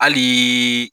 Hali